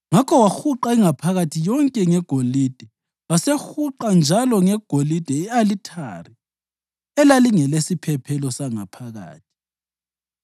Ngakho wahuqa ingaphakathi yonke ngegolide. Wasehuqa njalo ngegolide i-alithari elalingelesiphephelo sangaphakathi.